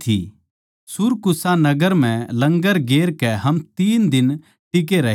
सुरकूसा नगर म्ह लंगर गेर कै हम तीन दिन टिके रहे